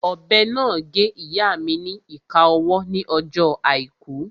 Ọ̀bẹ náà gé ìyáa mi ni ìka ọwọ́ ní ọjọ́ àìkú